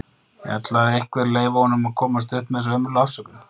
Ætlar einhver að leyfa honum að komast upp með þessa ömurlegu afsökun??